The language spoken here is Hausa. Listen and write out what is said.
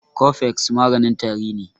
Cofex maganin tari ne.